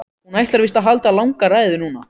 Hún ætlar víst að halda langa ræðu núna.